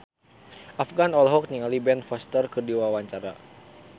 Afgan olohok ningali Ben Foster keur diwawancara